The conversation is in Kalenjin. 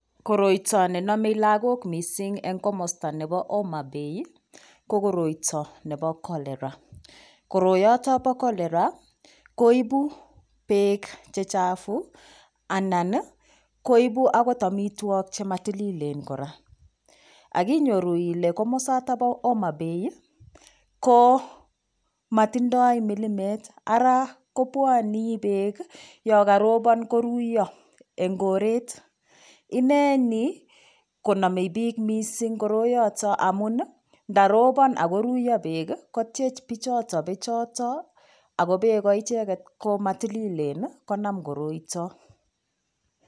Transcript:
Koroito nenomei lakok mising eng' komosta nebo Homa Bay ko koroito nebo cholera koroyoto bo cholera koibu beek chechafu anan koibu akot omitwok chematililen kora akinyoru ile komosata bo Homa Bay ko matindoi milimet ara kobwoni beek yo karobon koruiyo eng koret ineni konomei piik mising koroyoto amun ndarobon akoruiyo beek kotyech pichoto bechoto ako beko icheket komatililen konam koroito